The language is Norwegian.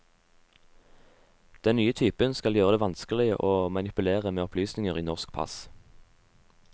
Den nye typen skal gjøre det vanskeligere å manipulere med opplysninger i norske pass.